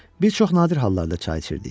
Bir çox nadir hallarda çay içirdik.